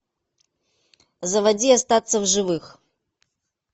заводи остаться в живых